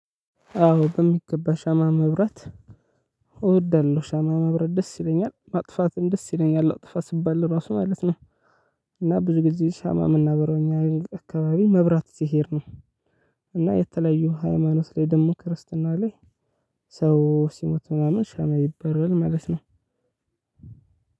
አዎ በሚገባ ሻማ ማብራት እወዳለሁ ሻማ ማብራት ደስ ይለኛል ማጥፋትም ደስ ይለኛል አጥፋ ስባል ራሱ ማለት ነው። እና ብዙ ጊዜ ሻማ የምናበራው እኛ አካባቢ መብራት ሲሄድ ነው። እና የተለያዩ ሃይማኖት ላይ ደግሞ ክርስትና ላይ ሰው ሲሞት ምናምን ሻማ ይበራል ማለት ነው።